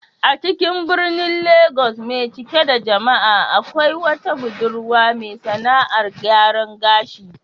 A cikin birnin Legas mai cike da jama'a, akwai wata budurwa mai sAna'ar gyaran gashi